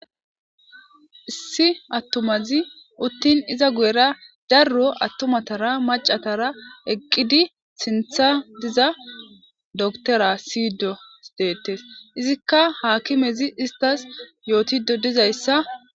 issi attumazi uttin iza guyera darro attumatara macatara eqqidi sintha diza doktora siydos deettes izikka haakimezi istas yootido dizayssa